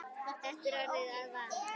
Þetta er orðið að vana.